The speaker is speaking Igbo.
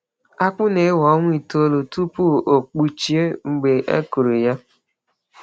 Akpụ na-ewe ọnwa itoolu tupu ọ kpụchie mgbe e kụrụ ya.